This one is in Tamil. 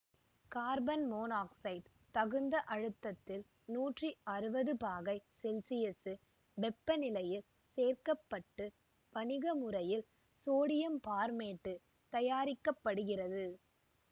கார்பன் மோனாக்சைடு தகுந்த அழுத்தத்தில் நூற்றி அறுபது பாகை செல்சியசு வெப்பநிலையில் சேர்க்க பட்டு வணிகமுறையில் சோடியம் பார்மேட்டு தயாரிக்க படுகிறது